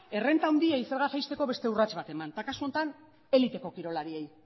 errenta handiei zerga jaisteko beste urrats bat eman eta kasu honetan eliteko kirolariei